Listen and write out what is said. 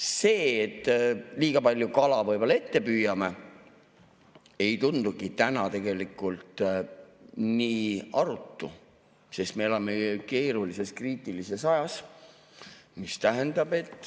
See, et me liiga palju kala võib-olla ette püüame, ei tundugi täna tegelikult nii arutu, sest me elame keerulises, kriitilises ajas.